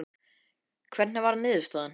Hvernig varð niðurstaðan?